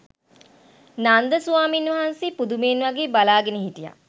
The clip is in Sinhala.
නන්ද ස්වාමීන් වහන්සේ පුදුමයෙන් වගේ බලාගෙන හිටියා.